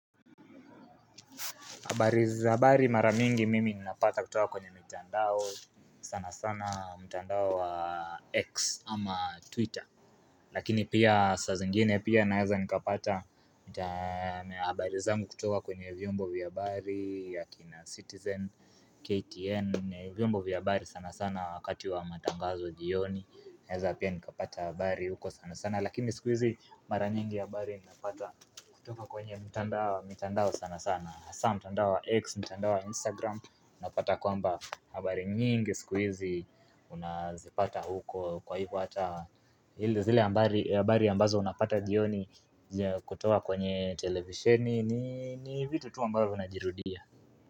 Habari hizi za habari maramingi mimi ninapata kutoka kwenye mitandao sana sana mtandao wa X ama Twitter Lakini pia saa zingine pia naweza nikapata mita habari zangu kutoka kwenye vyombo vya habari akina Citizen, KTN vyombo vya habari sana sana wakati wa matangazo jioni naweza pia nikapata habari huko sana sana Lakini sikuhizi maranyingi habari ninapata kutoka kwenye mitandao sana sana hasa mtandao wa x, mtandao wa instagram Napata kwamba habari nyingi sikuhizi Unazipata huko kwa hivyo hata hile zile habari ambazo unapata jioni kutoa kwenye televisheni ni vitu tu ambayo vinajirudia.